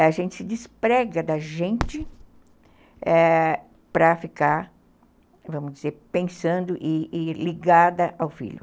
A gente se desprega da gente, é, para ficar, vamos dizer, pensando e ligada ao filho.